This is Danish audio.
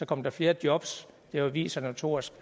kom der flere jobs det har vist sig notorisk